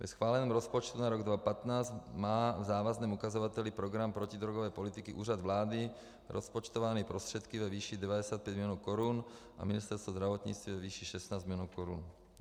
Ve schváleném rozpočtu na rok 2015 má v závazném ukazateli program protidrogové politiky Úřad vlády rozpočtovány prostředky ve výši 95 milionů korun a Ministerstvo zdravotnictví ve výši 16 milionů korun.